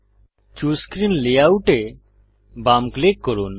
choose screen layout এ বাম click করুন